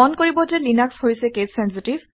মন কৰিব যে লিনাক্স হৈছে কেচ চেনচিটিভ